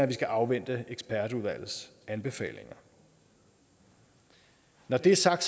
vi skal afvente ekspertudvalgets anbefalinger når det er sagt